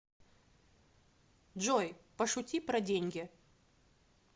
джой пошути про деньги